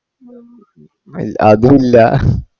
ഇൽ അതൂല്ല